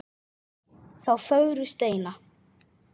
þá fögru steina.